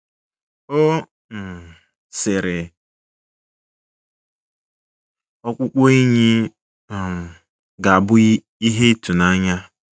Ọ um sịrị, Ọkpụkpụ enyi um ga-abụ ihe ịtụnanya.